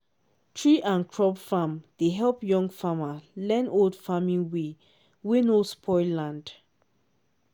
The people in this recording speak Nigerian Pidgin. tree and crop farm dey help young farmer learn old farming way wey no spoil land.